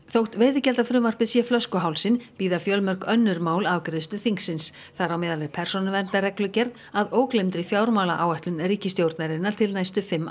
þótt veiðigjaldafrumvarpið sé flöskuhálsinn bíða fjölmörg önnur mál afgreiðslu þingsins þar á meðal er persónuverndarreglugerð að ógleymdri fjármálaáætlun ríkisstjórnarinnar til næstu fimm